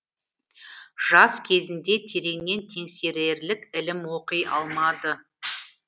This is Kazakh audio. жас кезінде тереңнен теңсерерлік ілім оқи алмады